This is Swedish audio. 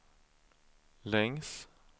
längs